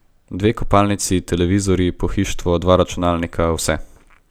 Dve kopalnici, televizorji, pohištvo, dva računalnika, vse.